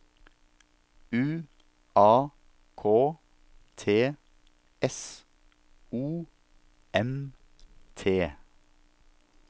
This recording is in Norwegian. U A K T S O M T